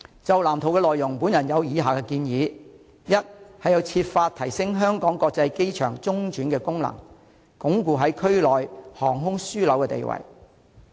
就藍圖的內容，我有以下建議：第一是要設法提升香港國際機場中轉的功能，鞏固在區內航空樞紐的地位。